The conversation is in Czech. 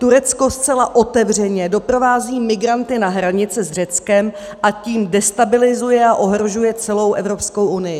Turecko zcela otevřeně doprovází migranty na hranice s Řeckem, a tím destabilizuje a ohrožuje celou Evropskou unii.